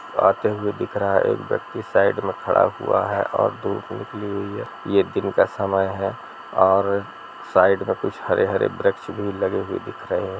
आते हुए दिख रहा है एक व्यक्ति साइड में खड़ा हुआ है और धूप निकली हुई है यह दिन का समय है और साइड मे कुछ हरे-हरे वृक्ष भी दिख रहे है।